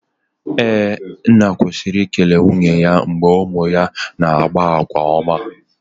Ee, nna kwesiri i ekele nwunye ya mgbe ụmụ ya na-akpa àgwà ọma